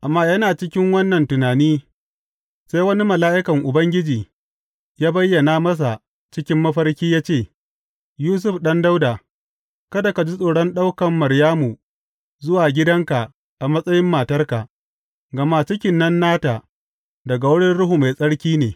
Amma yana cikin wannan tunani, sai wani mala’ikan Ubangiji ya bayyana masa cikin mafarki ya ce, Yusuf ɗan Dawuda, kada ka ji tsoron ɗaukan Maryamu zuwa gidanka a matsayin matarka, gama cikin nan nata, daga wurin Ruhu Mai Tsarki ne.